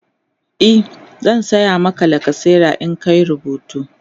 e zan saya Maka lacasera in ka Yi rubutu